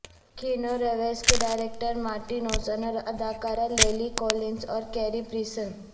Keanu Reeves کے director Marti Noxon اور اداکارہ للی کولنس اور کیری پریسن